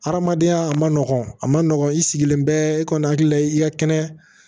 Hadamadenya a ma nɔgɔ a ma nɔgɔn i sigilen bɛ i kɔni hakili la i ka kɛnɛ